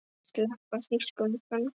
Sleppa þýskum föngum?